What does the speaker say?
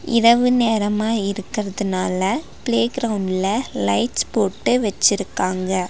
இரவு நேரமா இருக்குறதுனால பிளேகிரவுண்ட்ல லைட்ஸ் போட்டு வெச்சிருக்காங்க.